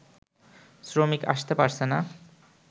শ্রমিক আসতে পারছেনা